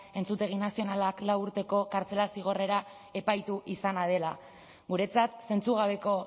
entzutegi nazionalak lau urteko kartzela zigorrera epaitu izana dela guretzat zentzugabeko